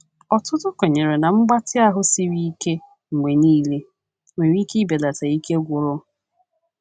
Ọtụtụ kwenyere na mgbatị ahụ siri ike mgbe niile nwere ike belata ike gwụrụ.